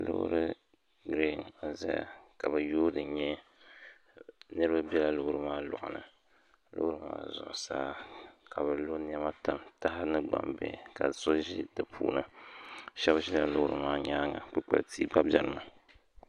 Loori n-zaya niriba bela loori maa lɔŋ ni loori maa zuɣusaa ka bɛ lo nɛma tam taha ni gbambihi ka so ʒi di puuni shɛba ʒila loori maa nyaaŋa kpukpal’ tia gba benimi